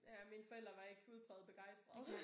Ja mine forældre var ikke udpræget begejstrede